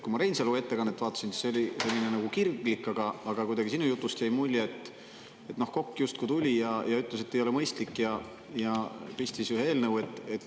Kui ma Reinsalu ettekannet vaatasin, siis see oli selline kirglik, aga sinu jutust jäi kuidagi mulje, et Kokk justkui tuli ja ütles, et ei ole mõistlik, ja pistis ühe eelnõu.